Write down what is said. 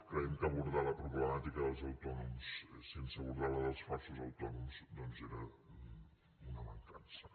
creiem que abordar la problemàtica dels autònoms sense abordar la dels falsos autònoms doncs era un mancança